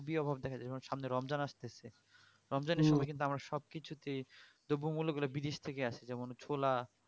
খুবই অভাব দেখা যাই সামনে রমজান আসতেছে রমজানের সময় কিন্তু আমরা সব কিছুতেই দ্রবমূল্যগুলো কিন্তু বিদেশ থেকেই আসে যেমন ছোলা